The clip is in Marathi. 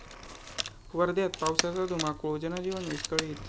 वर्ध्यात पावसाचा धुमाकूळ, जनजीवन विस्कळीत